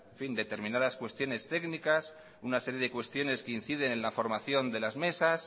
determinadas cuestiones técnicas una serie de cuestiones que inciden en la formación de las mesas